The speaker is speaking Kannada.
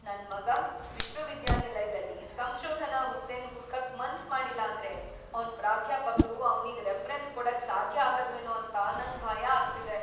ನನ್ ಮಗ ವಿಶ್ವವಿದ್ಯಾನಿಲಯ್ದಲ್ಲಿ ಸಂಶೋಧನಾ ಹುದ್ದೆನ್ ಹುಡ್ಕಕ್ ಮನ್ಸ್‌ ಮಾಡಿಲ್ಲಾಂದ್ರೆ ಅವ್ನ್ ಪ್ರಾಧ್ಯಾಪಕ್ರು ಅವ್ನಿಗ್ ರೆಫರೆನ್ಸ್ ಕೊಡಕ್ ಸಾಧ್ಯ ಆಗಲ್ವೇನೋ ಅಂತ ನಂಗ್ ಭಯ ಆಗ್ತಿದೆ.